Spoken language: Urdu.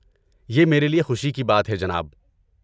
یہ میرے لیے خوشی کی بات ہے، جناب۔